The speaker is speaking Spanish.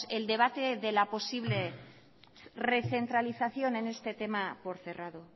el debate de la posible recentralización en este tema por cerrado